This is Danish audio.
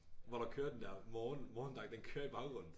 Hvor der kører den der morgen morgendak den kører i baggrunden